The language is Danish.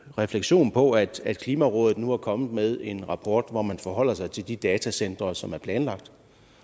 refleksion på at at klimarådet nu er kommet med en rapport hvor man forholder sig til de datacentre som er planlagt